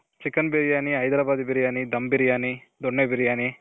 chicken biryani, Hyderabadi biryani, dum biryani, donne biryani.